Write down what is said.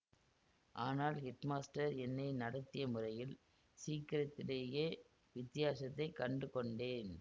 ஆனால் ஹெட்மாஸ்டர் என்னை நடத்திய முறையில் சீக்கிரத்திலேயே வித்தியாசத்தைக் கண்டு கொண்டேன்